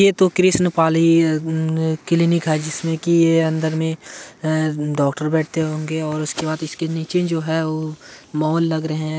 ये तो कृष्ण पाली क्लिनिक है जिसमे की ये अंदर में डॉक्टर बैठते होंगे और उसके बाद इसके नीचे मे जो है वो मॉल लग रहे है